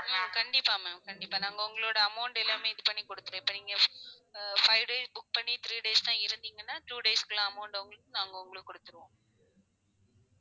ஹம் கண்டிப்பா ma'am கண்டிப்பா நாங்க உங்களோட amount எல்லாமே இது பண்ணி கொடுத்துடுவோம் இப்ப நீங்க அஹ் five days book பண்ணி three days தான் இருந்தீங்கனா two days குள்ள amount உங்களுக்கு நாங்க உங்களுக்கு கொடுத்துருவோம்